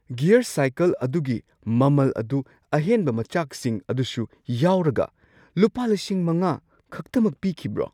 Gear cycle ꯑꯗꯨꯒꯤ ꯃꯃꯜ ꯑꯗꯨ ꯑꯍꯦꯟꯕ ꯃꯆꯥꯛꯁꯤꯡ ꯑꯗꯨꯁꯨ ꯌꯥꯎꯔꯒ ꯂꯨꯄꯥ ꯵,꯰꯰꯰ ꯈꯛꯇꯃꯛ ꯄꯤꯈꯤꯕ꯭ꯔꯣ?